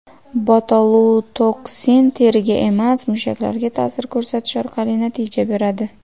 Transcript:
Botulotoksin teriga emas, mushaklarga ta’sir ko‘rsatish orqali natija beradi.